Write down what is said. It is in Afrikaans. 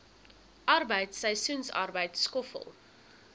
arbeid seisoensarbeid skoffel